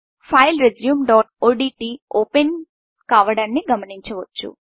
file resumeఓడ్ట్ ఓపెన్కావడాన్ని గమనించవచ్చు